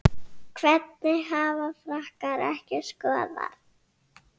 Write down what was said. Hvernig hafa Frakkar ekki skorað?